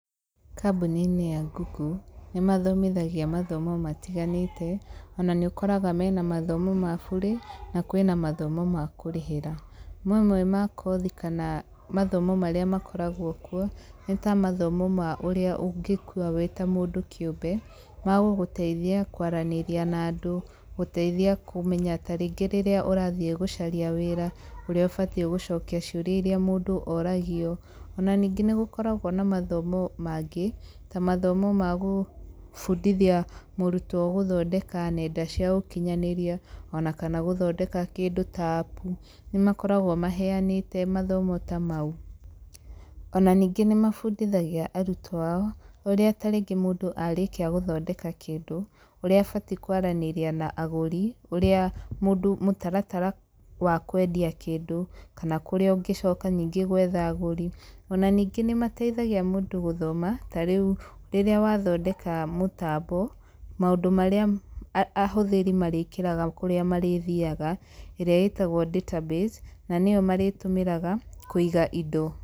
Kambuni-inĩ ya Google, nĩ mathomithagia mathomo matiganĩte. Ona nĩ ũkoraga mena mathomo ma bure, na kwĩna mathomo ma kũrĩhĩra. Mamwe ma kothi kana mathomo marĩa makoragwo kuo, nĩ ta mathomo ma ũrĩa ũngĩĩkuua wĩta mũndũ kĩũmbe, magũgũteithia kwaranĩria na andũ, gũteithia kũmenya tarĩngĩ rĩrĩa ũrathiĩ gũcaria wĩra, ũrĩa ũbatiĩ gũcokia ciũrĩa irĩa mũndũ oragio. Ona ningĩ nĩ gũkoragwo na mathomo mangĩ, ta mathomo ma gũbundithia mũrutwo gũthondeka nenda cia ũkinyanĩria, ona kana gũthondeka kĩndũ ta appu. Nĩ makoragwo maheanĩte mathomo ta mau. Ona ningĩ nĩ mabundithagia arutwo ao, ũrĩa tarĩngĩ mũndũ arĩkia gũthondeka kĩndũ, ũrĩa abatiĩ kwaranĩria na agũri, ũrĩa mũndũ mũtaratara wa kwendia kĩndũ, kana kũrĩa ũngĩcoka nyingĩ gwetha agũri. Ona ningĩ nĩ mateithagia mũndũ gũthoma, tarĩu rĩrĩa wathondeka mũtambo, maũndũ marĩa ahũthĩri marĩkĩrĩga kũrĩa marĩthiaga ĩrĩa ĩtagwo database na nĩyo marĩtũmĩraga, kũiga indo.